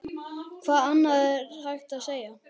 Hvað annað er hægt að segja?